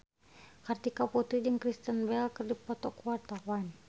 Kartika Putri jeung Kristen Bell keur dipoto ku wartawan